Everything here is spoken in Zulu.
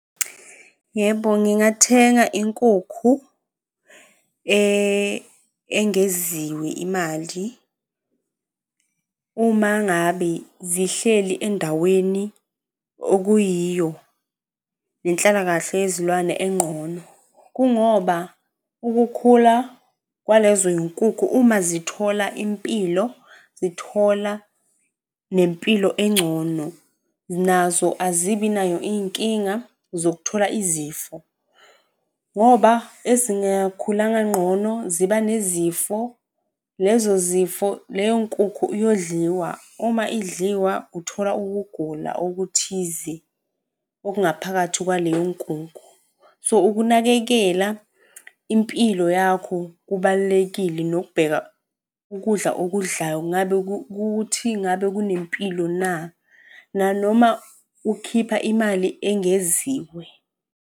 Yebo, ngingathenga inkukhu engeziwe imali uma ngabe zihleli endaweni okuyiyo nenhlalakahle yezilwane enqono. Kungoba ukukhula kwalezoy'nkukhu uma zithola impilo, zithola nempilo engcono, nazo azibi nayo iy'nkinga zokuthola izifo, ngoba ezingakhulanga nqono ziba nezifo. Lezo zifo, leyo nkukhu iyondliwa uma idliwa uthola ukugula okuthize okungaphakathi kwaleyo nkukhu. So, ukunakekela impilo yakho kubalulekile nokubheka ukudla okudlayo. Ngabe ukuthi ngabe kunempilo na? Nanoma ukhipha imali engeziwe.